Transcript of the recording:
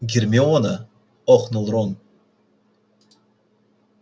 гермиона охнул рон